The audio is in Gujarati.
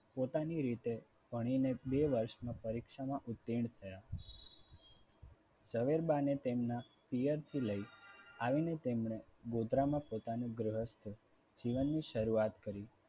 પોતાની રીતે ભણીને બે વર્ષમાં પરીક્ષામાં ઉત્તીર્ણ થયા. ઝવેરબા ને તેમના પિયરથી લઈ આવીને તેમણે ગોત્રામાં પોતાનું ગૃહસ્થ જીવનની શરૂઆત કરી